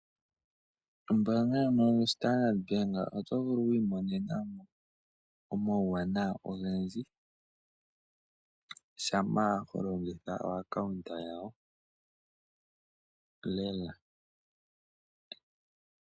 Ombaanga yo standard bank oto vulu okwiimonenamo oma uwanawa ogendji shampa holongitha ombaanga yawo lela.